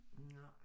Nej